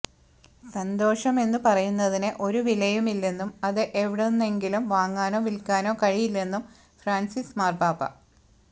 സന്തോഷം എന്നു പറയുന്നതിന് ഒരു വിലയുമില്ലെന്നും അത് എവിടുന്നെങ്കിലും വാങ്ങാനോ വിൽക്കാനോ കഴിയില്ലെന്നും ഫ്രാൻസിസ് മാർപാപ്പ